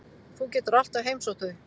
Þú getur alltaf heimsótt þau.